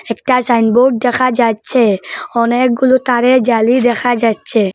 একটা sign board দেখা যাচ্ছে অনেকগুলো তারের জালি দেখা যাচ্ছে।